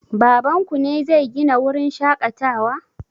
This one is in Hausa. Baban ku ne zai Gina wurin shaƙatawa?